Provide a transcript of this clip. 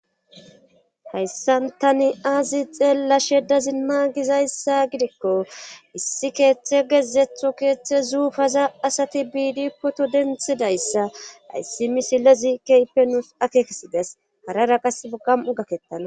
hayssantani aazi xeellashe da zinma gizayssa gidikko issi keeththe gezetho keeththe zuufaza asati biidi poto denthidayssa ayssi misilezi keypenuus ake kesides harara qas gam7o gakettana